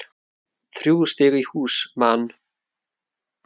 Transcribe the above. Þrjú stig í hús, Man.